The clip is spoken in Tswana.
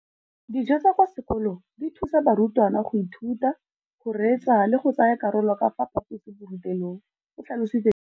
Dijo tsa kwa sekolong dithusa barutwana go ithuta, go reetsa le go tsaya karolo ka fa phaposiborutelong, o tlhalositse jalo.